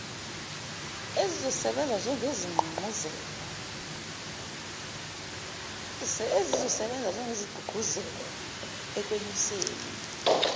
ezizosebenza njengesigqugquzelo ekwenyuseni